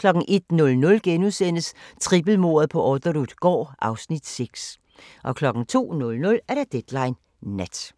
01:00: Trippelmordet på Orderud gård (Afs. 6)* 02:00: Deadline Nat